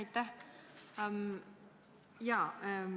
Aitäh!